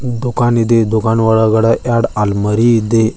ದುಕಾನ್ ಇದೆ ದಕಾನೊಳಗಡೆ ಎರ್ಡ್ ಅಲ್ಮರಿ ಇದೆ.